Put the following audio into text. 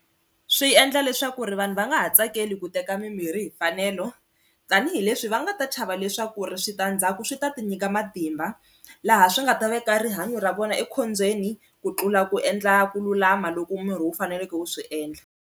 Swi endla leswaku ri vanhu va nga ha tsakeli ku teka mimirhi hi mfanelo tanihileswi va nga ta chava leswaku ri switandzhaku swi ta ti nyika matimba laha swi nga ta veka rihanyo ra vona ekhombyeni ku tlula ku endla ku lulama loko miri wu faneleke wu swi endla.